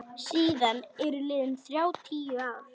Síðan eru liðin þrjátíu ár.